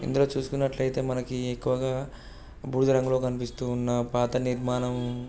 ఇందులో చేసుకున్నట్లైతే మనకి ఎక్కువ గా బూడిద రంగులో కనిపిస్తున్న పాత నిర్మాణం.